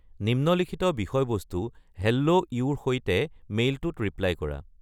নিম্নলিখিত বিষয়বস্তু হেল্লো ইউ-ৰ সৈতে মেইলটোত ৰিপ্লাই কৰা